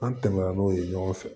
An tɛmɛ na n'o ye ɲɔgɔn fɛ